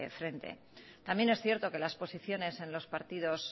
frente también es cierto que las posiciones en los partidos